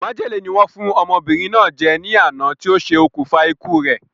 Májèlé ni wọ́n fún ọmọbìnrin náà jẹ ní àná ti o se òkùnfà ikú re